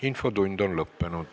Infotund on lõppenud.